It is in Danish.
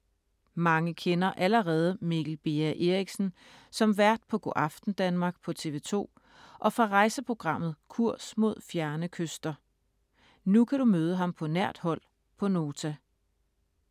Mange kender allerede Mikkel Beha Erichsen som vært på Go’aften Danmark på TV2 og fra rejseprogrammet Kurs mod fjerne kyster. Nu kan du møde ham på nært hold på Nota.